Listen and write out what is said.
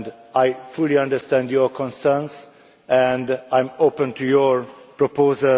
I fully understand your concerns and I am open to your proposals.